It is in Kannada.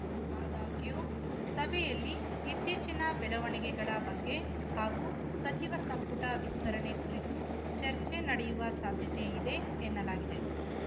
ಆದಾಗ್ಯೂ ಸಭೆಯಲ್ಲಿ ಇತ್ತೀಚಿನ ಬೆಳವಣಿಗೆಗಳ ಬಗ್ಗೆ ಹಾಗೂ ಸಚಿವ ಸಂಪುಟ ವಿಸ್ತರಣೆ ಕುರಿತು ಚರ್ಚೆ ನಡೆಯುವ ಸಾಧ್ಯತೆಯಿದೆ ಎನ್ನಲಾಗಿದೆ